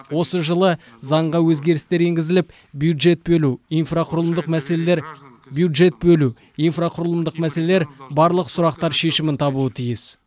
осы жылы заңға өзгерістер енгізіліп бюджет бөлу инфрақұрылымдық мәселелер бюджет бөлу инфрақұрылымдық мәселелер барлық сұрақтар шешімін табуы тиіс